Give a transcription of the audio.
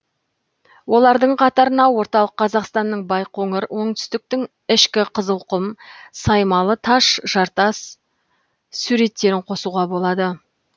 олардың қатарына орталық қазақстанның байқоңыр оңтүстіктің ішкі қызылқұм саймалы таш жартас суреттерін қосуға болады